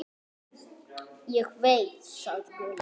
Ég veit, sagði Gulli.